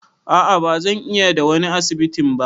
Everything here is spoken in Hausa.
A'a ba zan iya da wani asibitin ba.